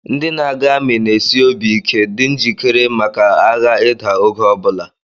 Ndị na-aga amị na-esi obi ike dị njikere maka agha ịda oge ọ bụla